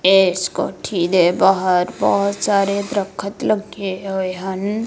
ਇਸ ਕੋਠੀ ਦੇ ਬਾਹਰ ਬਹੁਤ ਸਾਰੇ ਦਰੱਖਤ ਲੱਗੇ ਹੋਏ ਹਨ।